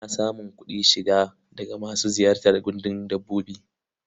Ana samun kuɗin shiga daga masu ziyartar gandun dabbobi.